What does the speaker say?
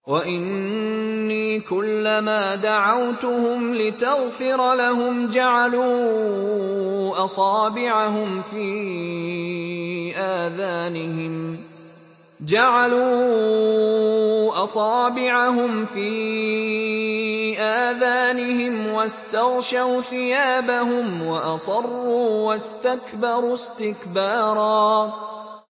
وَإِنِّي كُلَّمَا دَعَوْتُهُمْ لِتَغْفِرَ لَهُمْ جَعَلُوا أَصَابِعَهُمْ فِي آذَانِهِمْ وَاسْتَغْشَوْا ثِيَابَهُمْ وَأَصَرُّوا وَاسْتَكْبَرُوا اسْتِكْبَارًا